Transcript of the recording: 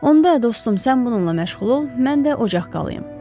Onda dostum, sən bununla məşğul ol, mən də ocaq qalayım.